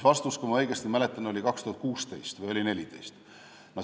Vastus, kui ma õigesti mäletan, oli 2016 või 2014.